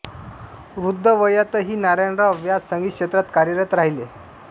वृद्ध वयातही नारायणराव व्यास संगीत क्षेत्रात कार्यरत राहिले